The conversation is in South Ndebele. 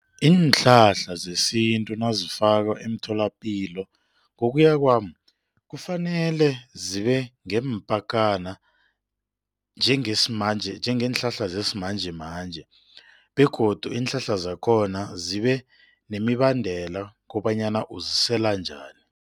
Iinhlahla zesintu nazifakwa emtholapilo, ngokuya kwami kufanele zibe ngeempakana njengeenhlahla zesimanjemanje begodu iinhlahla zakhona zibe nemibandela kobanyana uzisela njani.